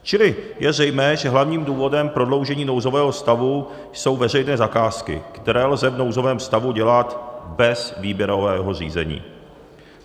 Čili je zřejmé, že hlavním důvodem prodloužení nouzového stavu jsou veřejné zakázky, které lze v nouzovém stavu dělat bez výběrového řízení.